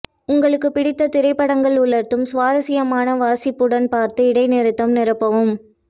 உங்களுக்குப் பிடித்த திரைப்படங்கள் உலர்த்தும் சுவாரஸ்யமான வாசிப்புடன் பார்த்து இடைநிறுத்தம் நிரப்பவும்